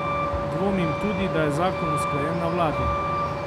Dvomim tudi, da je zakon usklajen na vladi.